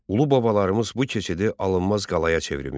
Ulu babalarımız bu keçidi alınmaz qalaya çevirmişdilər.